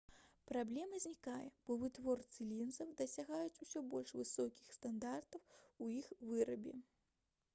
праблема знікае бо вытворцы лінзаў дасягаюць усё больш высокіх стандартаў у іх вырабе